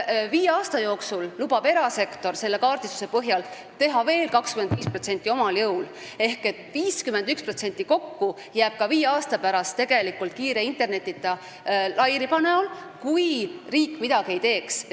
Viie aasta jooksul lubab erasektor selle kaardistuse põhjal teha veel 25% omal jõul ära ehk kokku umbes 51% aadressidest jääb ka viie aasta pärast tegelikult kiire internetiühenduseta, kui riik midagi ei tee.